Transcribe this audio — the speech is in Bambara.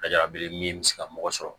Ka jabi min mi se ka mɔgɔ sɔrɔ